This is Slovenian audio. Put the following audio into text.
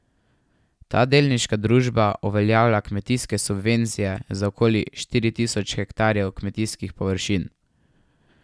Ta delniška družba uveljavlja kmetijske subvencije za okoli štiri tisoč hektarjev kmetijskih površin.